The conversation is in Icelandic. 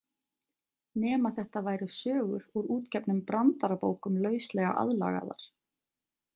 Nema þetta væru sögur úr útgefnum brandarabókum lauslega aðlagaðar.